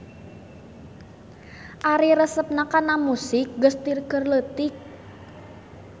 Ari resepna kana musik geus ti keur leutik.